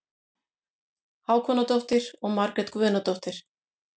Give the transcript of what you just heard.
Hákonardóttir og Margrét Guðnadóttir.